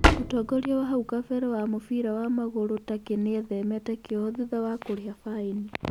Mũtongoria wa hau kabere wa mũbira wa magũru Turkey nĩethemete kĩoho thutha wa kũriha baĩni.